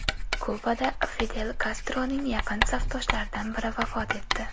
Kubada Fidel Kastroning yaqin safdoshlaridan biri vafot etdi.